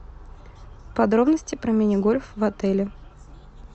подробности про мини гольф в отеле